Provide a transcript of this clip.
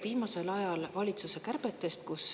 Viimasel ajal on juttu valitsuse kärbetest.